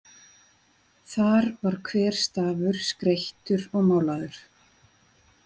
Þar var hver stafur skreyttur og málaður.